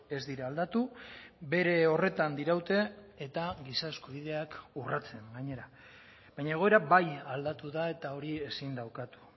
ez dira aldatu bere horretan diraute eta giza eskubideak urratzen gainera baina egoera bai aldatu da eta hori ezin da ukatu